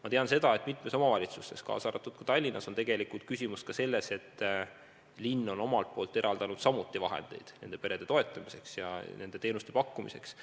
Ma tean seda, et mitmes omavalitsuses, kaasa arvatud Tallinnas, on tegelikult küsimus ka selles, et linn on omalt pooltki eraldanud vahendeid nende perede toetamiseks ja nende teenuste pakkumiseks.